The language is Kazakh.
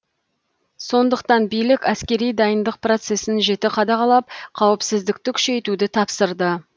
сондықтан билік әскери дайындық процесін жіті қадағалап қауіпсіздікті күшейтуді тапсырды